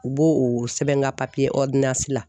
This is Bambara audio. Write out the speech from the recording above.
U b'o o sɛbɛn n ka papiye la